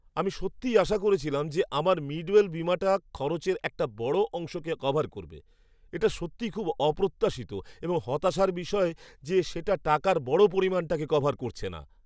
আমি সত্যিই আশা করছিলাম যে আমার মিডওয়েল বীমাটা খরচের একটা বড় অংশকে কভার করবে। এটা সত্যিই খুব অপ্রত্যাশিত এবং হতাশার বিষয় যে সেটা টাকার বড় পরিমাণটাকে কভার করছে না।